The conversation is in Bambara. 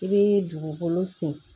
I bɛ dugukolo sen